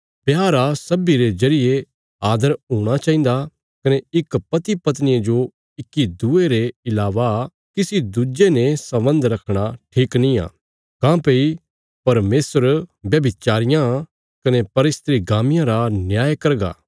ब्याह रा सब्बीं रे जरिये आदर हूणा चाहिन्दा कने इक पतिपत्निया जो इक्की दूये रे इलावा किसी दुज्जे ने सम्बन्ध रखणा ठीक नींआ काँह्भई परमेशर व्यभिचारियां कने परस्त्रीगामियां रा न्याय करगा